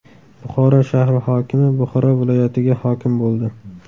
Buxoro shahri hokimi Buxoro viloyatiga hokim bo‘ldi.